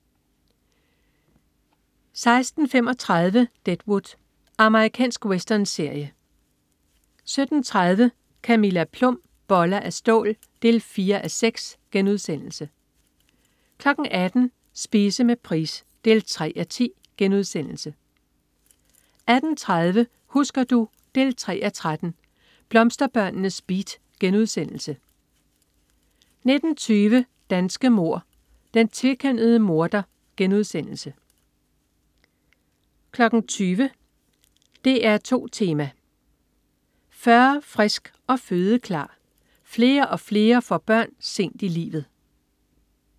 16.35 Deadwood. Amerikansk westernserie 17.30 Camilla Plum. Boller af stål 4:6* 18.00 Spise med Price 3:10* 18.30 Husker du? 3:13. Blomsterbørnenes beat* 19.20 Danske mord: Den tvekønnede morder* 20.00 DR2 Tema: 40, frisk og fødeklar. Flere og flere får børn sent i livet